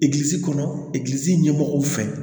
Egilisi kɔnɔ egilizi ɲɛmɔgɔw fɛ